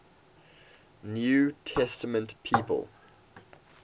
new testament people